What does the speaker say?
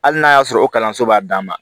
Hali n'a y'a sɔrɔ o kalanso b'a d'an ma